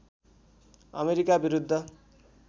America विरुद्ध